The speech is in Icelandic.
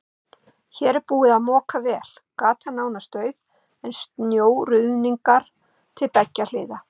Hér er búið að moka vel, gatan nánast auð en snjóruðningar til beggja hliða.